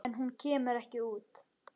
En hún kemur ekki út.